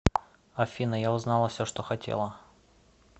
афина я узнала все что хотела